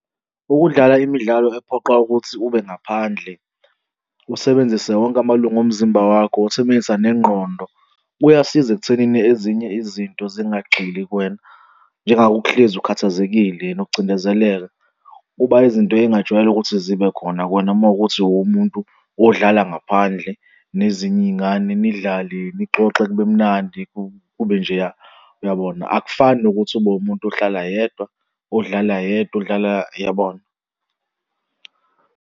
Ukudlala imidlalo ephoqa ukuthi ube ngaphandle usebenzise wonke amalunga omzimba wakho usebenzisa nengqondo, kuyasiza ekuthenini ezinye izinto zingagxili kuwena, njengako ukuhlezi ukhathazekile nokucindezeleka kuba izinto ey'ngajwayela ukuthi zibe khona kuwena, uma kuwukuthi uwumuntu odlala ngaphandle nezinye iy'ngane nidlale nixoxe, kube mnandi kube njeya, uyabona? Akufani nokuthi ube umuntu ohlala yedwa, odlala yedwa odlala uyabona?